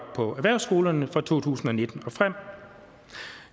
på erhvervsskolerne fra to tusind og nitten og frem